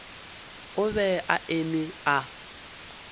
o be a eme a